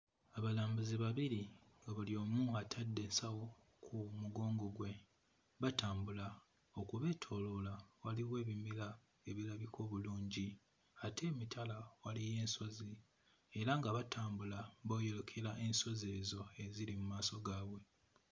Abalambuzi babiri buli omu atadde ensawo ku mugongo gwe batambula okubeetooloola waliwo ebimera ebirabika obulungi ate emitala waliyo ensozi era nga batambula boyolokera ensozi ezo eziri mu maaso gaabwe.